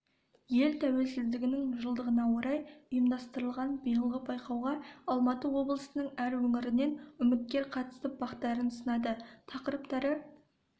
ел тәуелсіздігінің жылдығына орай ұйымдастырылған биылғы байқауға алматы облысының әр өңірінен үміткер қатысып бақтарын сынады тақырыптары